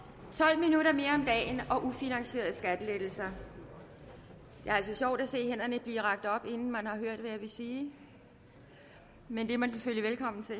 dagen og ufinansierede skattelettelser det er altså sjovt at se hænderne blive rakt op inden man har hørt hvad jeg vil sige men det er man selvfølgelig velkommen til